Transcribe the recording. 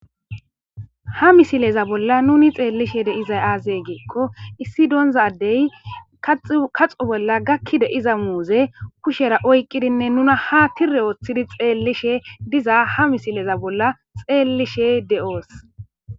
Ha misileza bolla nuni xeellishe dEYIzay aazey geekko issi doondza adey kaxo bolla gakkide iza muuze kushera oyqqidinne nuna ha tirre ooththidi xeellishe diza ha misileza bolla xeellishe de'oos.